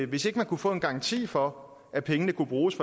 hvis ikke man kunne få en garanti for at pengene kunne bruges